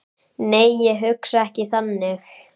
Nei, ég hugsa ekki þannig.